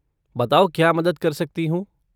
बताओ क्या मदद कर सकती हूँ?